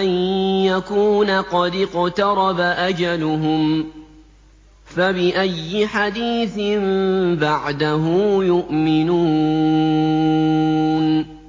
أَن يَكُونَ قَدِ اقْتَرَبَ أَجَلُهُمْ ۖ فَبِأَيِّ حَدِيثٍ بَعْدَهُ يُؤْمِنُونَ